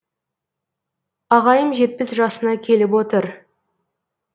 ағайым жетпіс жасына келіп отыр